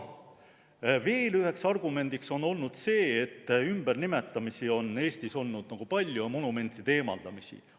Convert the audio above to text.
Veel üheks argumendiks on olnud see, et ümbernimetamisi ja monumentide eemaldamisi on Eestis olnud palju.